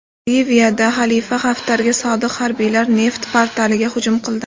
Liviyada Xalifa Haftarga sodiq harbiylar neft portlariga hujum qildi.